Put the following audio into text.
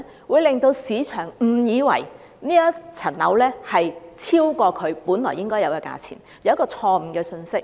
會令市場誤以為這個物業的價值超過其本來應有的價錢，給人一個錯誤的信息。